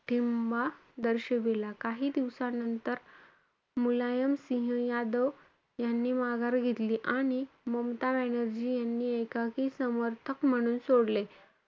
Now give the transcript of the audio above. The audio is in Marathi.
ठिंबा दर्शिवला. काही दिवसानंतर मुलायम सिंह यादव यांनी माघार घेतली. आणि ममता बॅनर्जी यांनी एकाकी समर्थक म्हणून सोडले.